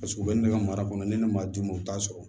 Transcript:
Paseke u bɛ ne ka mara kɔnɔ ni ne m'a d'u ma u t'a sɔrɔ